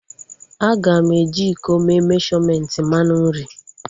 Aga m eji iko mee meshọmentị mmanụ nri